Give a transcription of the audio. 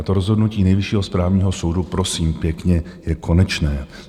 A to rozhodnutí Nejvyššího správního soudu prosím pěkně je konečné.